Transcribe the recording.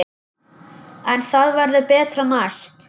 En það verður betra næst.